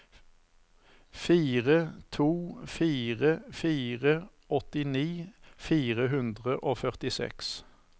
fire to fire fire åttini fire hundre og førtiseks